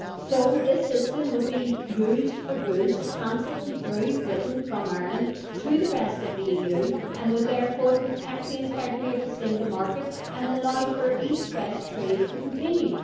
So this system would be used for goods transiting through Britain from Ireland to the rest of the EU and would therefore protect the integrity of the single market and allow for east west trade to continue.